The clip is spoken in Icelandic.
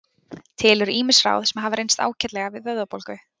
Til eru ýmis ráð sem hafa reynst ágætlega við vöðvabólgu.